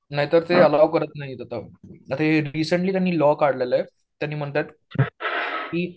नाहीतर ते अलाऊ करत नाहीत आता. तर हे रीसेंट्ली त्यांनी लॉ काढलेला आहे. त्यांनी म्हणतात की